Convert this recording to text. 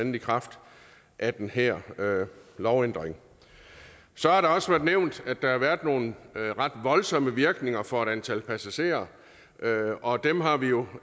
i kraft af den her lovændring så har der også været nævnt at der har været nogle ret voldsomme virkninger for et antal passagerer og dem har vi jo